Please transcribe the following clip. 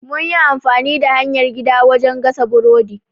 Mun yi amfani da hanyar gida wajen gasa burodi.